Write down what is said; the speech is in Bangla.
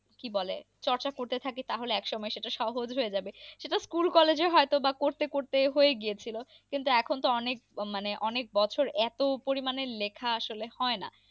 কি বলে, চর্চা করতে থাকি তাহলে একসময় সেটা সহজ হয়ে যাবে। সেটা স্কুল কলেজে হয়ত বা করতে করতে হয়ে গিয়েছিল কিন্তু এখন তো অনেক মানে অনেক বছর এত পরিমানে লেখা আসলে হয় না।